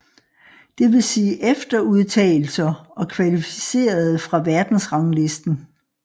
Det vil sige efterudtagelser og kvalificerede fra verdensranglisten